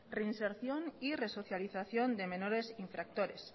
reinserción y resocialización de menores infractores